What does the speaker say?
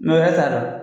wɛrɛ t'a la